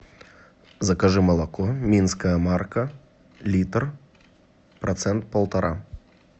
закажи молоко минская марка литр процент полтора